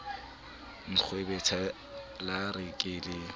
nkgwebetha la re ke le